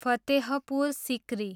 Fatehpur Sikri